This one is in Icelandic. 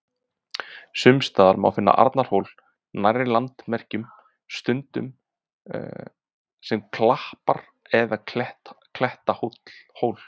Sums staðar má finna Arnarhól nærri landamerkjum, stundum sem klappar- eða klettahól.